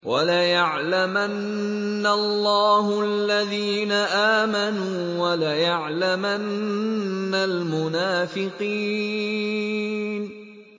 وَلَيَعْلَمَنَّ اللَّهُ الَّذِينَ آمَنُوا وَلَيَعْلَمَنَّ الْمُنَافِقِينَ